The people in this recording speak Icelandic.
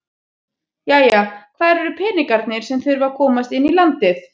Jæja hvar eru peningarnir sem að þurfa að komast inn í landið?